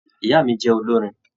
Ìyá mí jẹ olorin.